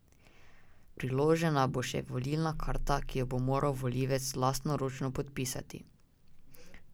Priložena bo še volilna karta, ki jo bo moral volivec lastnoročno podpisati.